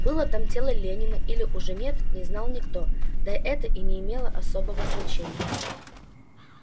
было там тело ленина или уже нет не знал никто да это и не имело особого значения